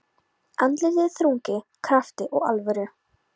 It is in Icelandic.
Andlitið er þrungið krafti og alvöru.